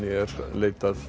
leitar